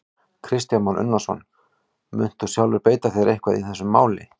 Kristján Már Unnarsson: Munt þú sjálfur beita þér eitthvað í þessu máli?